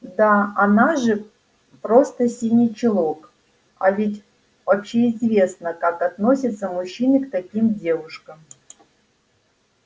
да она же просто синий чулок а ведь общеизвестно как относятся мужчины к таким девушкам